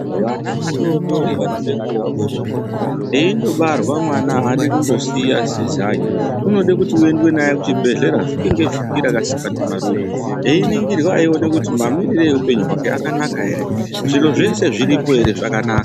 Vana vadodori vanode kuongororwa eindobarwa mwana adi kundosiya sezai, unode kuti uendwe naye kuzvibhehlera vhiki nevhiki rakasikwa ndimarure, eningirwa eione kuti mamire eupenyu hwake akanaka ere, zviro zvese zviripo ere zvakanaka.